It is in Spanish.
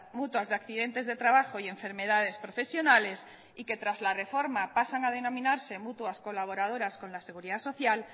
mutuas de accidentes de trabajo y enfermedades profesionales y que tras la reforma pasan a denominarse mutuas colaboradoras con la seguridad social